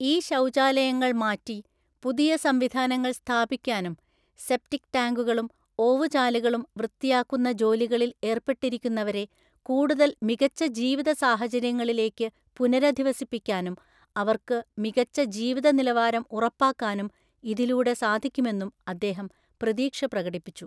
ഈ ശൗചാലയങ്ങൾ മാറ്റി പുതിയ സംവിധാനങ്ങൾ സ്ഥാപിക്കാനും, സെപ്റ്റിക് ടാങ്കുകളും ഓവുചാലുകളും വൃത്തിയാക്കുന്ന ജോലികളിൽ ഏർപ്പെട്ടിരിക്കുന്നവരെ കൂടുതൽ മികച്ച ജീവിത സാഹചര്യങ്ങളിലേക്ക് പുനരധിവസിപ്പിക്കാനും, അവർക്ക് മികച്ച ജീവിത നിലവാരം ഉറപ്പാക്കാനും ഇതിലൂടെ സാധിക്കുമെന്നും അദ്ദേഹം പ്രതീക്ഷ പ്രകടിപ്പിച്ചു.